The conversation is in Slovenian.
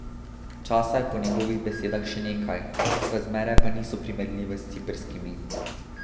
Časa je po njegovih besedah še nekaj, razmere pa niso primerljive s ciprskimi.